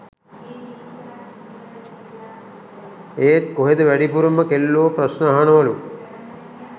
එත් කොහෙද වැඩිපුරම කෙල්ලෝ ප්‍රශ්න අහනවලු